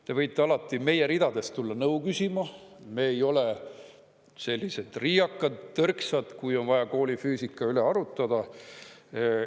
Te võite alati meie ridadest tulla nõu küsima, me ei ole sellised riiakad, tõrksad, kui on vaja koolifüüsika üle arutada.